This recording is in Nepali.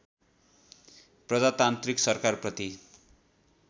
प्रजातान्त्रिक सरकारप्रति